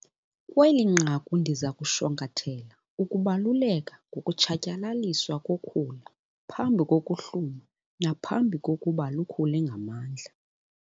Kweli nqaku ndiza kushwankathela ukubaluleka ngokutshatyalaliswa kokhula phambi kokuhluma naphambi kokuba lukhule ngamandla.